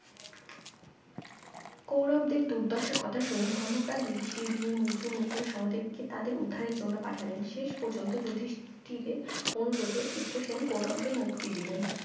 কৌরবদের দুর্দশার কথা শুনে ধর্মপ্রান যুধিষ্টির ভীম অর্জুন নকুল সহদেব কে তাদের উদ্ধারের জন্য পাঠালেন শেষ পর্যন্ত যুধিষ্টিরের অনুরোধে চিত্রসেন কৌরবদের মুক্তি দিলেন